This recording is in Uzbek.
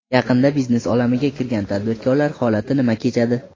Yaqinda biznes olamiga kirgan tadbirkorlar holati nima kechadi?